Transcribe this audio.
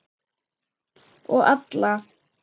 Og alla.